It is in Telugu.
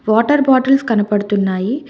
వాటర్ బాటిల్స్ కనపడుతున్నాయి.